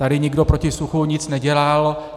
Tady nikdo proti suchu nic nedělal.